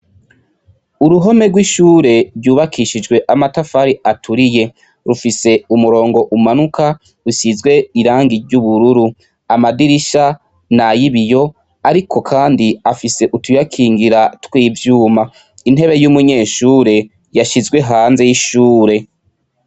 Uruhome rw'ishure ryubakishijwe amatafari aturiye, rufise umurongo umanuka usizwe irangi ry'ubururu; amadirisha ni ay'ibiyo, ariko kandi afise utuyakingira tw'ivyuma. Intebe y'umunyeshure, yashizwe hanze y'ishure.